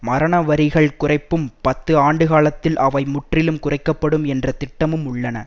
மரணவரிகள் குறைப்பும் பத்து ஆண்டுகாலத்தில் அவை முற்றிலும் குறைக்க படும் என்ற திட்டமும் உள்ளன